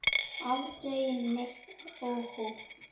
Aldrei neitt óhóf.